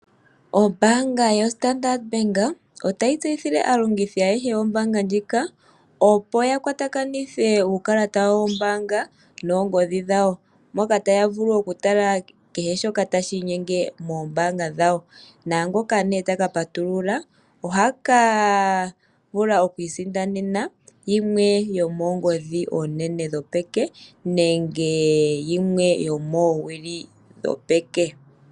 Ombaanga yoStandard Bank otayi tseyithile aalongithi ayehe yombaanga ndjika, opo ya kwatakanithe uukalata wawo wombaanga noongodhi dhawo. Moka taya vulu okutala kehe shoka tashi inyenge moombaanga dhawo. Naangoka ta ka patulula oha ka vula oku isindanena yimwe yomoongodhi oonene dhopeke nenge yimwe yomoowili dhopeke.